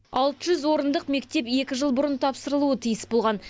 алты жүз орындық мектеп екі жыл бұрын тапсырылуы тиіс болған